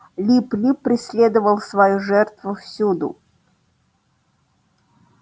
лип лип преследовал свою жертву всюду